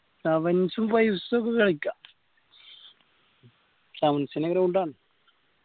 sevens ഉം fives ഒക്കെ കളിക്കാ sevens ന്റ ground ആണ്.